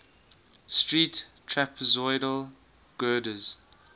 steel trapezoidal girders